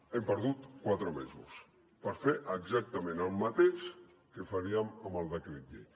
hem perdut quatre mesos per fer exactament el mateix que faríem amb el decret llei